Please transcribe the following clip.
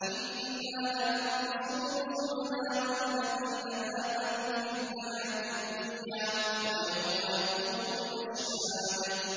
إِنَّا لَنَنصُرُ رُسُلَنَا وَالَّذِينَ آمَنُوا فِي الْحَيَاةِ الدُّنْيَا وَيَوْمَ يَقُومُ الْأَشْهَادُ